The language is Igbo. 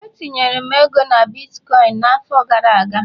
etinyere m ego na bitkọịn n'afọ gara aga